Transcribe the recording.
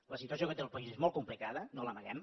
la situació que té el país és molt complicada no l’amaguem